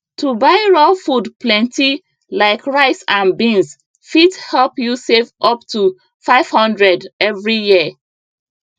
to buy raw food plenty like rice and beans fit help you save up to 500 every year